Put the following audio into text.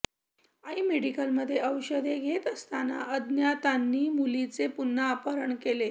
आई मेडिकलमध्ये औषधे घेत असताना अज्ञातांनी मुलीचे पुन्हा अपहरण केले